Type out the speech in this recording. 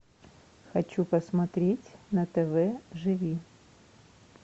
хочу посмотреть на тв живи